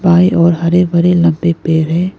बाएं ओर हरे भरे लंबे पेड़ हैं।